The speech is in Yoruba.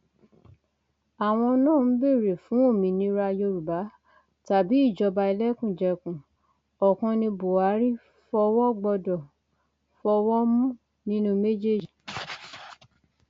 àwọn náà ń béèrè fún òmìnira yorùbá tàbí ìjọba ẹlẹkùnjẹkùn ọkàn ní buhari fọwọ gbọdọ fọwọ mú nínú méjèèjì